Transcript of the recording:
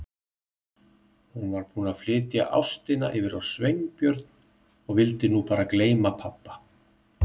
Hún var búin að flytja ástina yfir á Sveinbjörn og vildi nú bara gleyma pabba.